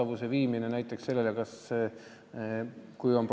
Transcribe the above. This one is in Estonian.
Kui on probleeme, siis tegeleb sellega nimekomisjon.